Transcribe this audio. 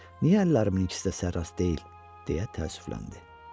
Niyə əllərimin ikisi də sərras deyil, deyə təəssüfləndi.